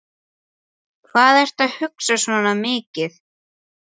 Hvað ertu að hugsa svona mikið?